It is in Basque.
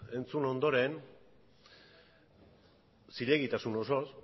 entzun ondoren zilegitasun osoz